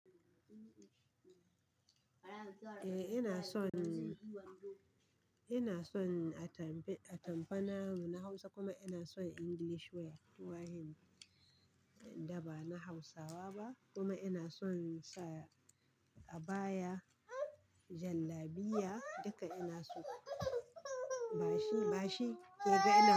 Eh ina son, ina son atamfa na na Hausa kuma ina son English wear. Wayanda ba na Hausawa ba kuma ina son sa abaya jallabiya, duka ina so. Bashi, bashi ke gani.